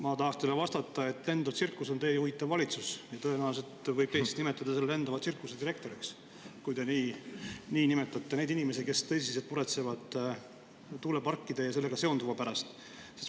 Ma tahan teile vastata, et lendav tsirkus on teie juhitav valitsus ja tõenäoliselt võib teid siis nimetada selle lendava tsirkuse direktoriks, kui te nimetate nii neid inimesi, kes tõsiselt muretsevad tuuleparkide ja nendega seonduva pärast.